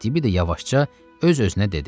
Eftibida yavaşca öz-özünə dedi: